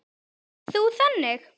Ert þú þannig?